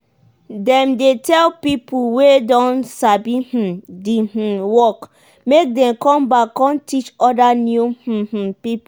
dem dey tell pipo wey don sabi um di um work make dem com back com teach oda new um um pipo.